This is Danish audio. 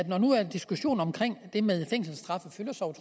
når nu den diskussion om det med fængselsstraffe fylder så